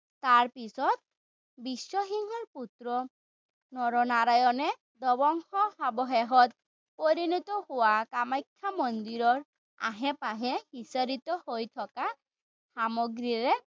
তাৰ পিছত বিশ্বসিংহৰ পুত্ৰ নৰনাৰায়ণে ধ্বংসাৱশেষত পৰিনত হোৱা মন্দিৰৰ আসে-পাসে বিস্তাৰিত হৈ থকা সামগ্ৰীৰে